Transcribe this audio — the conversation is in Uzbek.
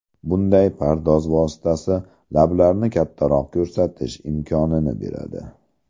Bunday pardoz vositasi lablarni kattaroq ko‘rsatish imkonini beradi.